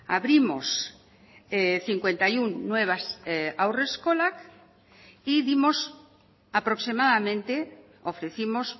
abrimos cincuenta y uno nuevas haurreskolak y dimos aproximadamente ofrecimos